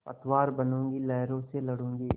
पतवार बनूँगी लहरों से लडूँगी